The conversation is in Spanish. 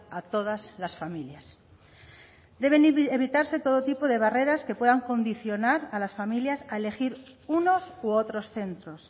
a todas las familias deben evitarse todo tipo de barreras que puedan condicionar a las familias a elegir unos u otros centros